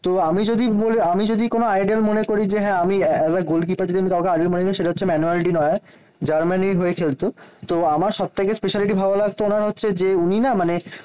তো আমি যদি বলি আমি যদি কোন আইডল মনে করি যে, হ্যাঁ আমি as a গোলকিপার যদি আমি কাউকে আইডল মনে করি সেটা হচ্ছে ম্যানুয়ালটি নয় জার্মানি হয়ে খেলতো। তো আমার সব থেকে স্পেশালিটি ভালো লাগতো ওনার হচ্ছে যে উনি না মানে